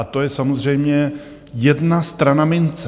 A to je samozřejmě jedna strana mince.